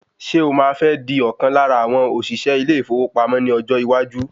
Ṣé o máa fẹ́ di ọ̀kan lára àwọn òṣìṣẹ́ ilé ìfowópamọ́ ní ọjọ́ iwájú?